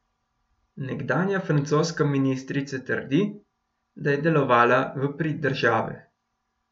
Nekdanja francoska ministrica trdi, da je delovala v prid države.